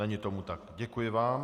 Není tomu tak, děkuji vám.